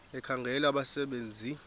ekhangela abasebe nzi